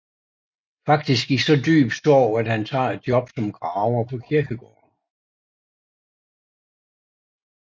Faktisk i så dyb sorg at han tager et job som graver på kirkegården